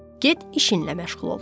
Get işinlə məşğul ol.